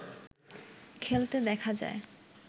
খেলতে দেখা যায়